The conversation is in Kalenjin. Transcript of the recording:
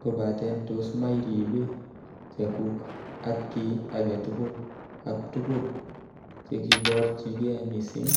kobaten tos ma iribe chekuk ak kiy agetugul ak tugul chekiriborchige missing ?